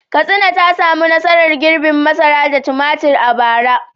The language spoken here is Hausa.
Katsina ta samu nasarar girbin masara da tumatir a bara.